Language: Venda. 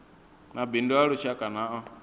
mabindu a lushaka na a